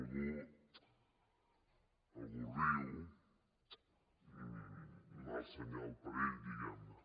algú riu mal senyal per a ell diguem ne